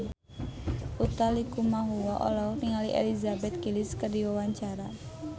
Utha Likumahua olohok ningali Elizabeth Gillies keur diwawancara